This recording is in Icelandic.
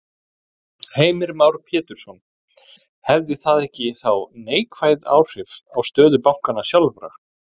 Heimir Már Pétursson: Hefði það ekki þá neikvæð áhrif á stöðu bankanna sjálfra?